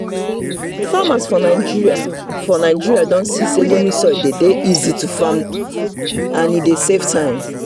farmers for nigeria for nigeria don see say loamy soil dey easy to farm and e dey save time.